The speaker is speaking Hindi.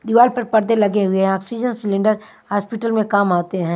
दीवार पर पर्दे लगे हुए हैं ऑक्सीजन सिलेंडर हॉस्पिटल में काम आते हैं।